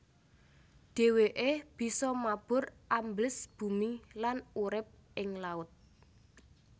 Dhèwèké bisa mabur ambles bumi lan urip ing laut